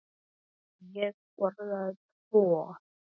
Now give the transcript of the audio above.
Ég borðaði tvo.